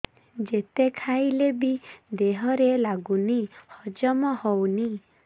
ଯେତେ ଖାଇଲେ ବି ଦେହରେ ଲାଗୁନି ହଜମ ହଉନି